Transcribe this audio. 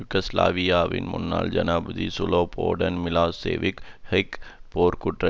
யூகோஸ்லாவியாவின் முன்னாள் ஜனாதிபதி Slobodan Milosevic Hague போர்குற்ற